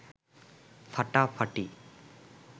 ফাটাফাটি